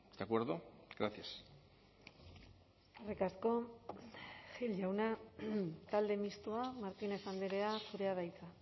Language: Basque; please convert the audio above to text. de acuerdo gracias eskerrik asko gil jauna talde mistoa martínez andrea zurea da hitza